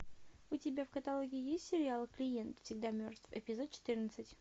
у тебя в каталоге есть сериал клиент всегда мертв эпизод четрынадцать